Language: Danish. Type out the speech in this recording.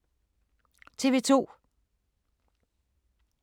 TV 2